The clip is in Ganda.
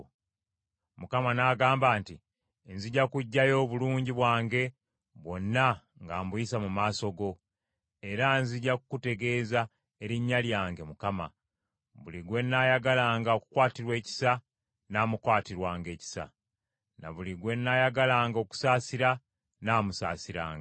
Mukama n’agamba nti, “Nzija kuggyayo obulungi bwange bwonna nga mbuyisa mu maaso go. Era nzija kukutegeeza erinnya lyange, Mukama . Buli gwe nnaayagalanga okukwatirwa ekisa, nnaamukwatirwanga ekisa, ne buli gwe nnaayagalanga okusaasira nnaamusaasiranga.”